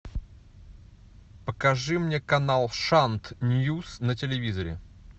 покажи мне канал шант ньюс на телевизоре